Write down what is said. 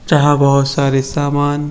चाहा बोहत सारे सामान ।